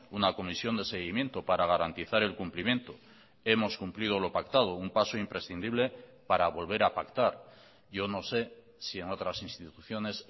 una comisión de seguimiento para garantizar el cumplimiento hemos cumplido lo pactado un paso imprescindible para volver a pactar yo no sé si en otras instituciones